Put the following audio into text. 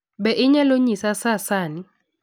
Be inyalo nyisa saa sani